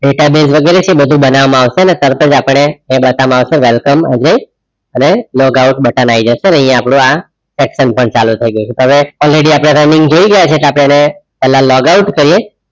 Database વગેરે છે બધું બનાવામાં આવશે અને તારાજ આપડે એ બતાવામાં આવે welcome અને log out button આયી જશે અને અહીંયા આપણું આ action પણ ચાલુ થાયી જાય હવે already આપડે running જોઈ રિયા છે પેલા લોગ આઉટ કરીયે